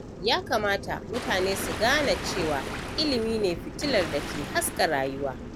Ya kamata mutane su gane cewa ilimi ne fitilar dake haska rayuwa.